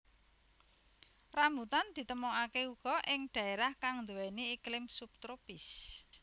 Rambutan ditemokaké uga ing dhaérah kang nduwèni iklim sub tropis